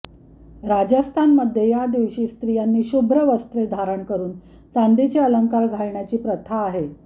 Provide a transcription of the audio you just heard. राजस्थानमध्ये या दिवशी स्त्रियांनी शुभ्र वस्त्रे धारण करून चांदीचे अलंकार घालण्याची प्रथा आहे